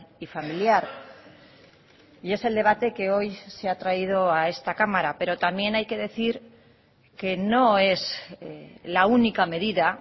y familiar y es el debate que hoy se ha traído a esta cámara pero también hay que decir que no es la única medida